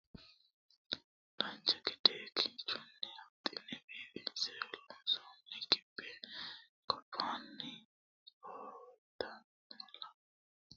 dancha gede kinchunni huxxine biifinse loonsoonni gibbe gobbaani noowta lame xexxerrisa leellishshannota ikkitanna minuno leellanno hattono shiwonna woluri gibbete noote